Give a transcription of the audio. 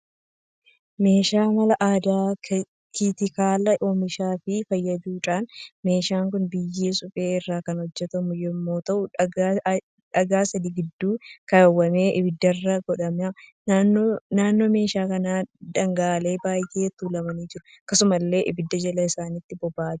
Meeshaa mala aadaan kaatikaalaa oomishuuf fayyaduudha. Meeshaan kun biyyee suphee irraa kan hojjetamu yammuu ta'u dhagaa sadii gidduu kaawwamee ibidarra godhama. naannoo meeshaa kanaa dhagaaleen baay'een tuulamanii jiru. Akkasumallee ibiddi jala isaatti boba'aa jira.